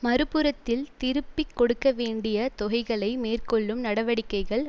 மறு புறத்தில் திருப்பி கொடுக்க வேண்டிய தொகைகளை மேற்கொள்ளும் நடவடிக்கைகள்